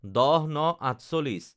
১০/০৯/৪৮